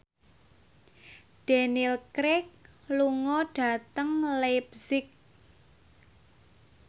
Daniel Craig lunga dhateng leipzig